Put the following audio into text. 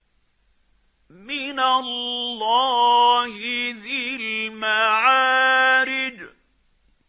مِّنَ اللَّهِ ذِي الْمَعَارِجِ